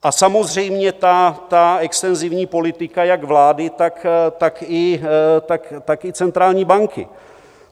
A samozřejmě ta extenzivní politika jak vlády, tak i centrální banky.